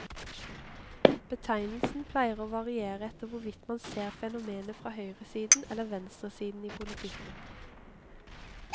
Betegnelsen pleier å variere etter hvorvidt man ser fenomenet fra høyresiden eller venstresiden i politikken.